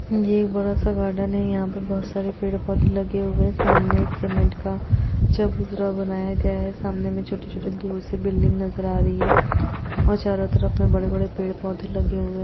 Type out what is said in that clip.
ये एक बडा सा गार्डन है यहां पर बहुत सारे पेड पौधे लगे हुए हैं सामने एक सीमेंट का चबूतरा बनाया गया है सामने में छोटी छोटी दूर से बिल्डिंग नजर आ रही है और चारों तरफ बडे बडे पेड पौधे लगे हुए--